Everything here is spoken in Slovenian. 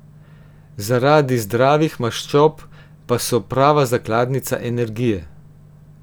Zaradi zdravih maščob pa so prava zakladnica energije.